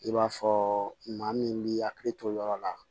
I b'a fɔ maa min b'i hakili to yɔrɔ la